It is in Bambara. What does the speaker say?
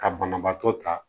Ka banabaatɔ ta